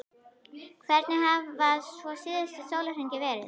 Hvernig hafa svo síðustu sólarhringar verið?